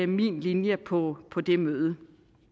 min linje på på det møde